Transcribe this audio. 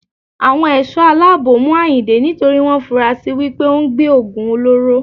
Àwọn Ẹ̀ṣọ́ aláàbò mú Àyìndé nítorí wọn fura si wípé òun gbé Ògùn olóró.